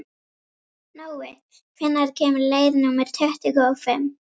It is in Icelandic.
Nói, hvenær kemur leið númer tuttugu og fimm?